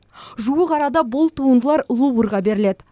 жуық арада бұл туындылар луврға беріледі